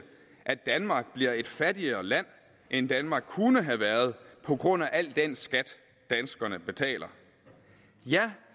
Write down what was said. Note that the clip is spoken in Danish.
at danmark bliver et fattigere land end danmark kunne have været på grund af al den skat danskerne betaler ja